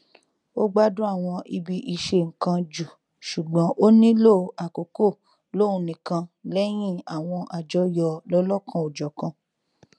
ó gbádùn àwọn ibi ìṣennkan jù ṣùgbọn ó nílò àkókò lóhun nìkan lẹyìn àwọn àjọyọ lọlọkanòjọkan